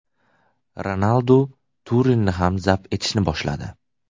Ronaldu Turinni ham zabt etishni boshladi.